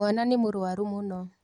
Mwana nĩmũrwaru mũno.